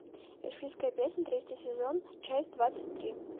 эльфийская песнь третий сезон часть двадцать три